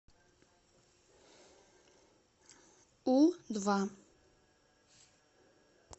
у два